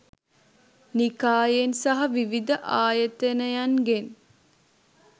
නිකායෙන් සහ විවිධ ආයතනයන්ගෙන්